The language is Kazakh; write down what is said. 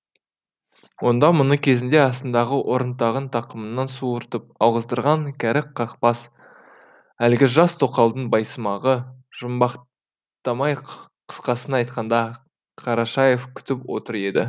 онда мұны кезінде астындағы орынтағын тақымынан суыртып алғыздырған кәрі қақбас әлгі жас тоқалдың байсымағы жұмбақтамай қысқасын айтқанда қарашаев күтіп отыр еді